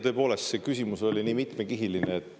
Tõepoolest, see küsimus oli nii mitmekihiline.